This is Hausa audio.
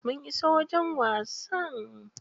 Mun iso wajen wasa.